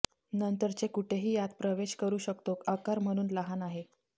नंतरचे कुठेही आत प्रवेश करू शकतो आकार म्हणून लहान आहेत